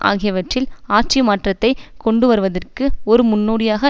ஆகியவற்றில் ஆட்சி மாற்றத்தை கொண்டுவருவதற்கு ஒரு முன்னோடியாக